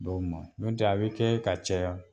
Dɔw ma n'o tɛ a bɛ kɛ ka caya.